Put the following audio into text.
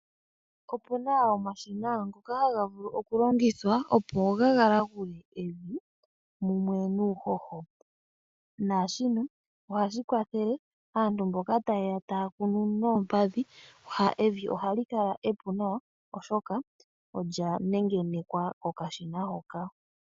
Opuna omashina ngoka haga vulu okulongithwa opo gagalagule evi mumwe nuuhoho , naashino ohashi kwathele aantu mboka tayeya taya kunu noompadhi evi ohali kala epu oshoka olya nengenekwa kokashina hoka.